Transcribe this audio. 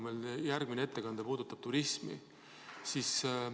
Meil järgmine ettekandja puudutab turismi.